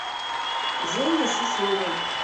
жене шишове